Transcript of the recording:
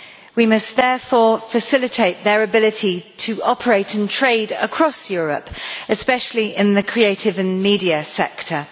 We must therefore facilitate their ability to operate and trade across Europe, especially in the creative and media sector.